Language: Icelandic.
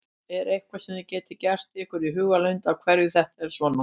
Er eitthvað sem þið getið gert ykkur í hugarlund af hverju þetta er svona?